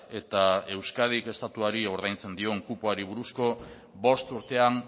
eta euskadik estatuari ordaintzen dion kupoari buruzko bost urtean